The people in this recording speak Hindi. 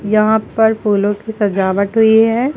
यहां पर फूलों की सजावट हुई है।